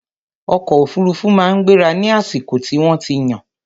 ọkọ òfurufú máa ń gbéra ní àsìkò tí wọ́n ti yàn.